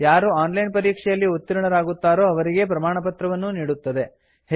ಯಾರು online ಪರೀಕ್ಷೆಯಲ್ಲಿ ಉತ್ತೀರ್ಣರಾಗುತ್ತಾರೋ ಅವರಿಗೆ ಪ್ರಮಾಣಪತ್ರವನ್ನೂ ನೀಡುತ್ತದೆ